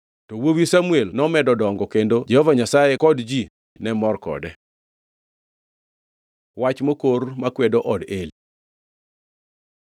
To wuowi Samuel nomedo dongo; kendo Jehova Nyasaye kod ji ne mor kode. Wach mokor makwedo od Eli